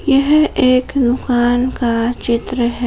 यह एक का चित्र है।